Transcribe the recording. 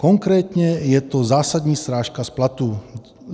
Konkrétně je to zásadní srážka z platu.